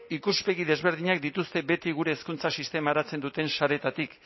ikuspegi desberdinak dituzte beti gure hezkuntza sistema eratzen duten sareetatik